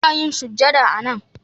Ina yin sujada a nan